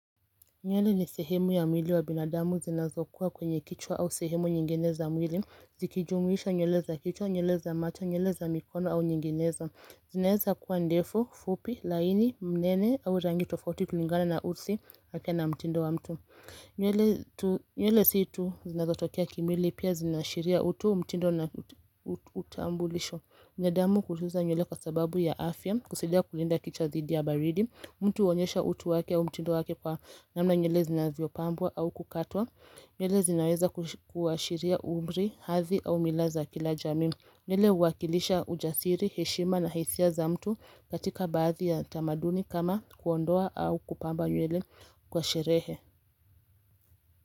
Nywele ni sehemu ya mwili wa binadamu zinazokuwa kwenye kichwa au sehemu nyinginezo za mwili, zikijumuisha nywele za kichwa, nywele za macho, nywele za mikono au nyinginezo. Zinaweza kuwa ndefu, fupi, laini, mnene au rangi tofauti kulingana na hudhi wake na mtindo wa mtu. Nywele nywele si tu, zinazotokea kimwili pia zinaashiria utu, mtindo na utambulisho wa damu kujuza nywele kwa sababu ya afya, kusaidia kulinda kichwa dhidi ya baridi. Mtu huonyesha utu wake au mtindo wake kwa namna nywele zinavyopambwa au kukatwa. Nywele zinaweza kuashiria umri, hadhi au mila za kila jamii. Nywele huwakilisha ujasiri, heshima na hasia za mtu katika baadhi ya tamaduni kama kuondoa au kupamba nywele kwa sherehe.